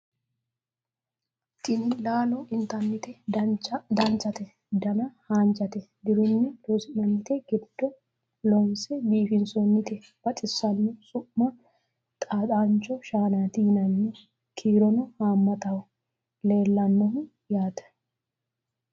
tini laalo intannite danchate dana haanjate dirunni loonsoonnite giddo loonse biifinsoonnite baxissanno su'ma xaaxancho shaanati yinanni kiirono haammataho leellannohu yaate